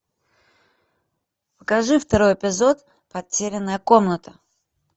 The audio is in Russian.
покажи второй эпизод потерянная комната